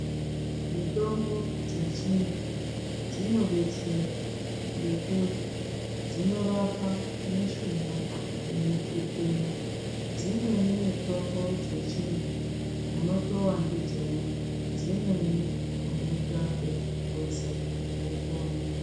Mitombo dzechindu dzinodetsera ngekuti dzinorapa mishuna inotetena, dzimweni mitombo dzechindu unotowa ndidzona dzimweni unoita ekupuza wopona.